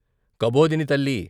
కబోదిని తల్లి